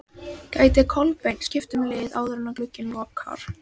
Gæti Kolbeinn skipt um lið áður en glugginn lokar?